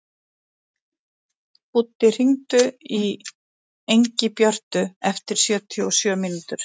Búddi, hringdu í Ingibjörtu eftir sjötíu og sjö mínútur.